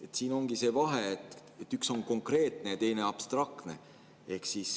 Siin ongi see vahe, et üks on konkreetne ja teine abstraktne.